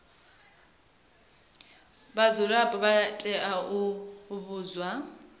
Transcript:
vhadzulapo vha tea u vhudzwa